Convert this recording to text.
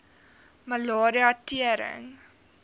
malaria tering